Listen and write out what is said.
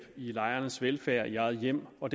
i lejernes velfærd i eget hjem og